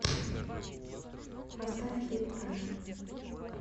поставь хитрая